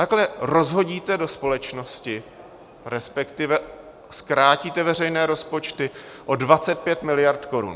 Takhle rozhodíte do společnosti, respektive zkrátíte veřejné rozpočty o 25 miliard korun.